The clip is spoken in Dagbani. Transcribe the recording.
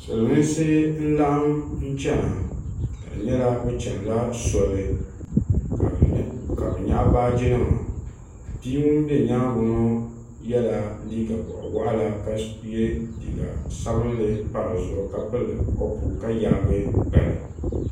siliminsi nlaɣim nchɛna ka si nyɛla bi chɛni la soli ka bi yɛɣi baaji nima bia ŋuni bɛ yɛanga ŋɔ ye la liiga bɔɣi wuɣila ka ye liiga sabinli pa di zuɣu ka pili kopu ka yaagi gbali.